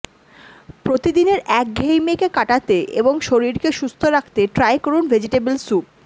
প্রতিদিনের একঘেয়েমি কাটাতে এবং শরীরকে সুস্থ রাখতে ট্রাই করুন ভেজিটেবিল স্যুপ